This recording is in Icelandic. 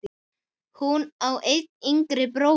Hún á einn yngri bróður.